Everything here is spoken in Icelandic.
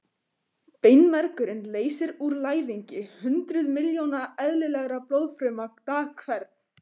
Beinmergurinn leysir úr læðingi hundruð miljóna eðlilegra blóðfruma dag hvern.